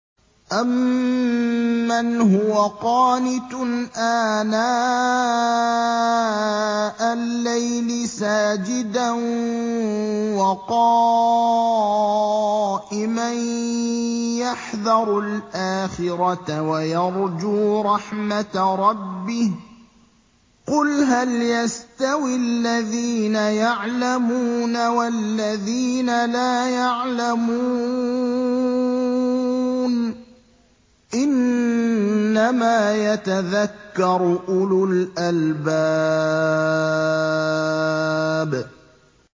أَمَّنْ هُوَ قَانِتٌ آنَاءَ اللَّيْلِ سَاجِدًا وَقَائِمًا يَحْذَرُ الْآخِرَةَ وَيَرْجُو رَحْمَةَ رَبِّهِ ۗ قُلْ هَلْ يَسْتَوِي الَّذِينَ يَعْلَمُونَ وَالَّذِينَ لَا يَعْلَمُونَ ۗ إِنَّمَا يَتَذَكَّرُ أُولُو الْأَلْبَابِ